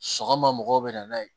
Sɔgɔma mɔgɔw bɛ na n'a ye